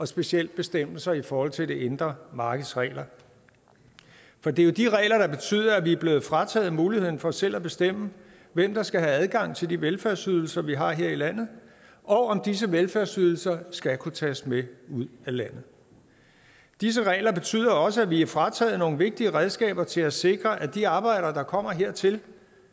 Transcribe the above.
specielt bestemmelser i forhold til det indre markeds regler for det er jo de regler der betyder at vi er blevet frataget muligheden for selv at bestemme hvem der skal have adgang til de velfærdsydelser vi har her i landet og om disse velfærdsydelser skal kunne tages med ud af landet disse regler betyder også at vi er frataget nogle vigtige redskaber til at sikre at de arbejdere der kommer hertil